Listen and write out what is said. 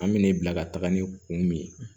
An mina ne bila ka taga ni kun min ye